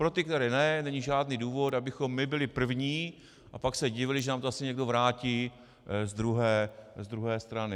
Pro ty, které ne, není žádný důvod, abychom my byli první a pak se divili, že nám to zase někdo vrátí z druhé strany.